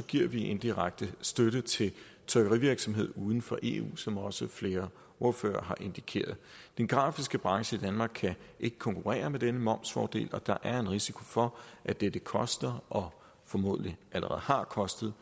giver vi indirekte støtte til trykkerivirksomhed uden for eu som også flere ordførere har indikeret den grafiske branche i danmark kan ikke konkurrere med denne momsfordel og der er en risiko for at det koster og formodentlig allerede har kostet